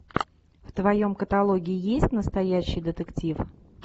в твоем каталоге есть настоящий детектив